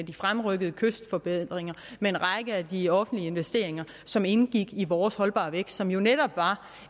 de fremrykkede kystforbedringer en række af de offentlige investeringer som indgik i vores holdbar vækst som jo netop var